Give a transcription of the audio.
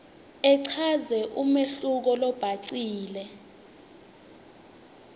achaze umehluko lobhacile